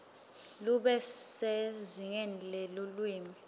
lube sezingeni lelulwimi